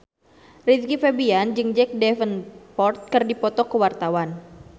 Rizky Febian jeung Jack Davenport keur dipoto ku wartawan